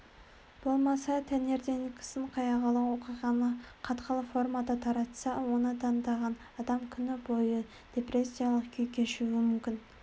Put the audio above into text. болмаса таңертеңгісін қайғылы оқиғаны қатқыл формада таратса оны тыңдаған адам күні бойы депрессиялық күй кешуі мүмкін